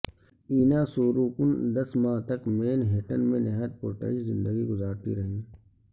اینا سوروکن دس ماہ تک مین ہیٹن میں نہایت پرتعش زندگی گزارتی رہیں